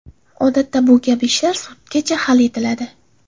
Odatda bu kabi ishlar sudgacha hal etiladi.